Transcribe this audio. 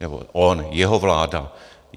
Nebo on - jeho vláda.